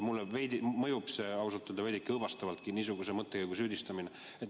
Mulle mõjub ausalt öeldes veidi õõvastavalt, et meid niisuguses mõttekäigus süüdistatakse.